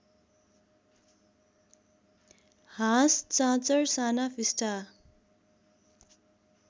हाँस चाँचर साना फिस्टा